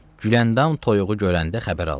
Güləndam toyuğu görəndə xəbər aldı.